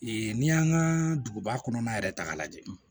n'i y'an ka duguba kɔnɔna yɛrɛ ta k'a lajɛ